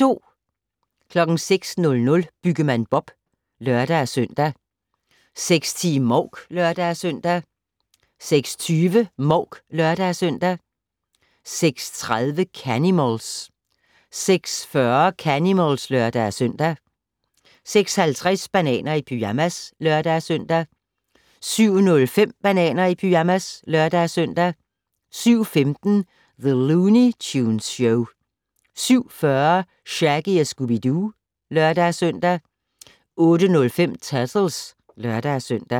06:00: Byggemand Bob (lør-søn) 06:10: Mouk (lør-søn) 06:20: Mouk (lør-søn) 06:30: Canimals 06:40: Canimals (lør-søn) 06:50: Bananer i pyjamas (lør-søn) 07:05: Bananer i pyjamas (lør-søn) 07:15: The Looney Tunes Show 07:40: Shaggy & Scooby-Doo (lør-søn) 08:05: Turtles (lør-søn)